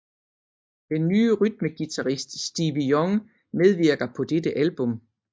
Den nye rytmeguitarist Stevie Young medvirker på dette album